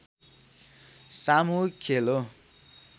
सामूहिक खेल हो